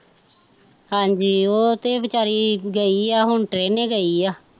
ਹਾਂਜੀ ਉਹ ਤੇ ਵੀਚਾਰੀ ਗਈ ਆ ਹੁਣ ਟਰੇਨੇ ਗਈ ਆ